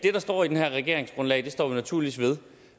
der står i det her regeringsgrundlag står vi naturligvis ved